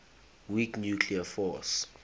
weak nuclear force